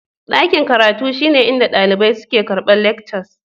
Daƙin karatun shine inɗa daliɓai suke karɓar leckcas.